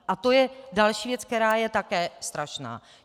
A to je další věc, která je také strašná.